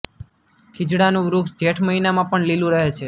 ખીજડાનું વૃક્ષ જેઠ મહિનામાં પણ લીલું રહે છે